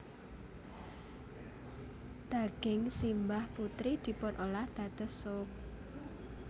Daging simbah putri dipunolah dados sup